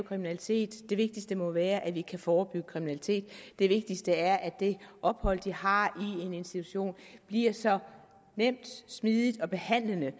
kriminalitet det vigtigste må være at vi kan forebygge kriminalitet det vigtigste er at det ophold de har i en institution bliver så nemt smidigt og behandlende